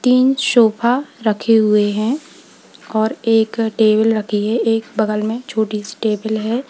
तीन सोफा रखे हुए हैं और एक टेबल रखी है और एक बगल में छोटी टेबल है।